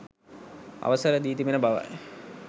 අවසර දී තිබෙන බවයි